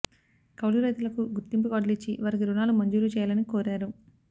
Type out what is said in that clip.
కౌలు రైతులకు గుర్తింపు కార్డులిచ్చి వారికి రుణాలు మంజూరు చేయాలని కోరారు